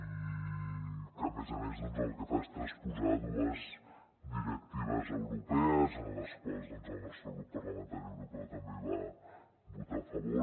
i que a més a més doncs el que fa és transposar dues directives europees a les quals el nostre grup parlamentari europeu també hi va votar a favor